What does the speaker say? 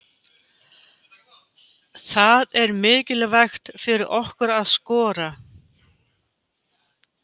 Það er mikilvægt fyrir okkur að skora.